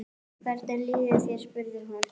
Hvernig líður þér? spurði hún.